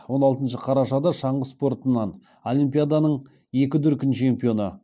он алтыншы қарашада шаңғы спортынан олимпиаданың екі дүркін чемпионы